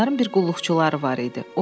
Onların bir qulluqçuları var idi.